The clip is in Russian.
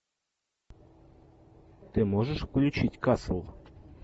ты можешь включить касл